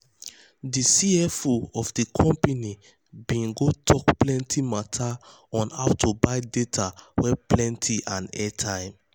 de cfo um of de company bin go tok plenty mata on how to buy data wey plenty and airtime.